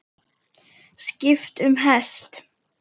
Skipt um hest.